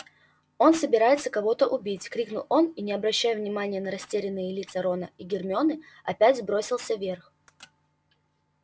оно собирается кого-то убить крикнул он и не обращая внимания на растерянные лица рона и гермионы опять бросился вверх